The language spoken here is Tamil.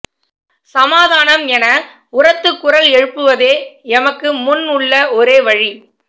சமாதானம் என உரத்து குரல் எழுப்புவதே எமக்கு முன் உள்ள ஓரே வழி